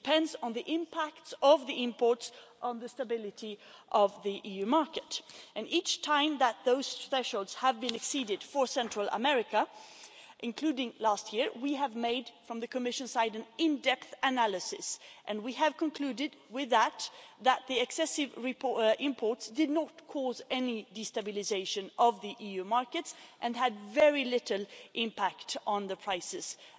It depends on the impact of the imports on the stability of the EU market and each time that those thresholds have been exceeded for Central America, including last year, from the Commission side we have made an in depth analysis and we have concluded that the excessive imports did not cause any destabilisation of the EU markets and had very little impact on the prices either.